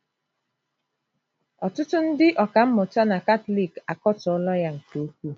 Ọtụtụ ndị ọkàmmụta na Katọlik akatọọla ya nke ukwuu.